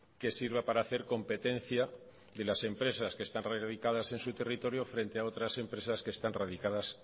que sirva para hacer competencia de las empresas que están radicadas en su territorio frente a otras empresas que están radicadas